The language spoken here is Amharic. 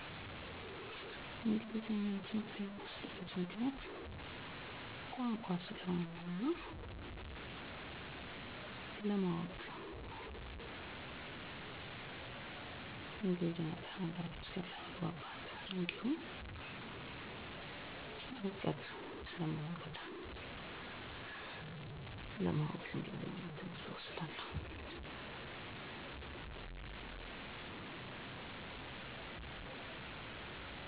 ባዮሎጂ (ስነ-ህይዎት)፣ እንግሊዘኛ እና የኮምፒዩተር ትምህርት(ICT) ናቸው። ባዮሎጂን የምወድበት ምክንያት - የከጤና ጋር የተያያዘ በመሆኑ ምክንያቱም ከምንም በላይ የሰው ልጅ የሚያስፈልገው ዋናው ነገር ጤና ነው። እንግሊዘኛን ትምህርት የምዎድበት ምክንያት - አለም አቀፍ ቋንቋ ስለሆነ እና የሁሉም ትምህርቶች መሰረት ስለሆነ ነው። ICT ወይንም የኮምፒውተር ትምህርት የምዎድበት ምክንያት አለም ላይ ያለው ማንኛውም እንቅስቃሴ እና የቴክኖሎጂ ዘርፍ በሙሉ ከኮምፒውተር ጋር የተያያዘ በመሆኑ ነው።